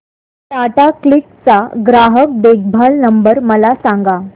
Tata Cliq चा ग्राहक देखभाल नंबर मला सांगा